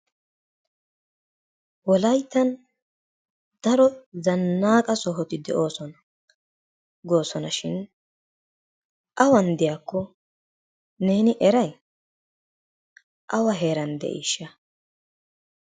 Wolayttan daro zanaaqqa sohoti de'oosona, goosonashin awan diyakko neeni eray? awa heeran de'iisha?